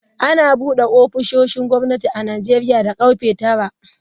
Ana bude ofisoshin gwamnati a Najeriya da karfe tara.